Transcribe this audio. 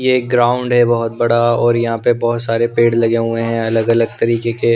ये ग्राउंड हैं बहुत बड़ा और यहाँ पर बहुत सारे पेड़ लगे हुए हैं अलग-अलग तरीके के --